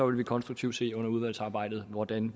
vil vi konstruktivt se under udvalgsarbejdet hvordan